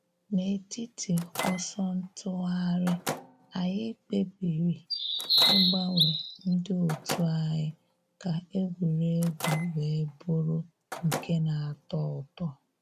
N’etiti ọsọ ntụgharị, anyị kpebiri ịgbanwe ndị òtù anyi ka egwuregwu wee bụrụ nke na.-atọ ụtọ.